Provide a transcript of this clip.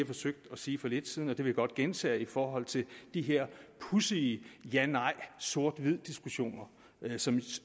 forsøgte at sige for lidt siden og det vil jeg godt gentage i forhold til de her pudsige ja nej sort hvid diskussioner som